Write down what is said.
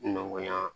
Nɔgɔya